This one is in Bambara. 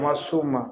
Kuma so ma